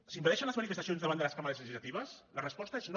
s’impedeixen les manifestacions davant de les cambres legislatives la resposta és no